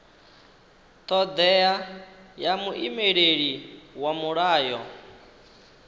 thodea ya muimeleli wa mulayo